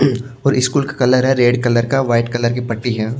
और स्कूल का कलर है रेड कलर का वाइट कलर की पट्टी है।